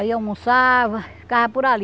Aí almoçava, ficava por ali.